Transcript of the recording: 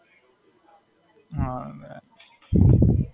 ના, ના ટિફિન લઈને આયો તો.